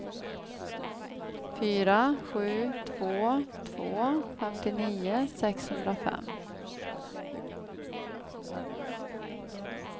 fyra sju två två femtionio sexhundrafem